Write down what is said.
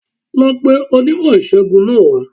Lọ pe onímò ìṣègùn náà wá